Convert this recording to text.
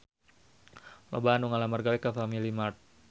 Loba anu ngalamar gawe ka Family Mart